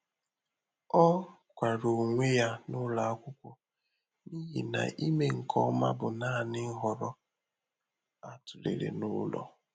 Ọ́ kwara ónwé yá n’ụ́lọ ákwụ́kwo n’íhí nà ị́me nké ọmà bụ́ nāànị́ nhọrọ á tụ́léré n’ụ́lọ.